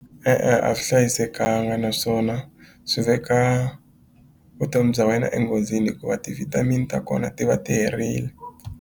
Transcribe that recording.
E-e a swi hlayisekanga naswona swi veka vutomi bya wena enghozini hikuva ti-vitamin ta kona ti va ti herile.